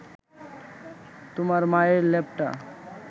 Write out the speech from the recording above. তোমার মায়ের লেপটা